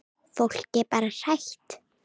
Fólk er bara hrætt.